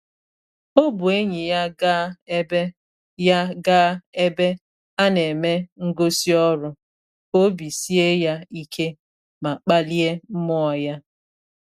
O bu enyi ya gaa ebe ya gaa ebe a na-eme ngosi ọrụ ka obi sie ya ike ma kpalie mmụọ ya.